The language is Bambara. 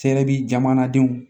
Sɛ bɛ jamanadenw